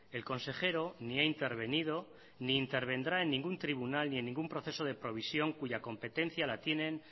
el consejero ni ha intervenido ni intervendrá en ningún tribunal ni en ningún proceso de provisión cuya competencia la tienen